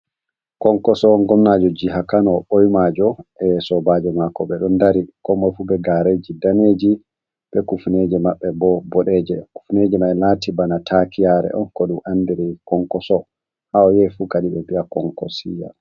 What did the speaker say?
Konkoso, gomnajo jiha kano ɓoimajo e sobajo mako ɓe ɗon dari komoi fu be gareji daneji be kufneje maɓɓe bo boɗeje, kufneje maɓɓe lati bana taakiyare on ko du andiri konkoso, ha oyahifu kadi be bi'a konkosiya.